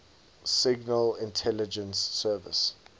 signal intelligence service